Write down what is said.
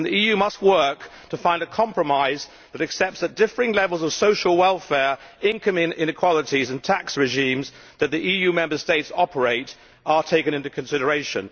The EU must work to find a compromise that accepts that the differing levels of social welfare, income inequalities and tax regimes that the EU Member States operate must be taken into consideration.